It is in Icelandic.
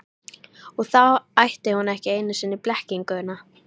Og þá ætti hún ekki einu sinni blekkinguna.